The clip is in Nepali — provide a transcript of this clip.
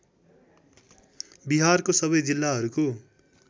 बिहारको सबै जिल्लाहरूको